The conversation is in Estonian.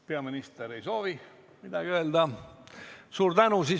Peaminister ei soovi midagi öelda.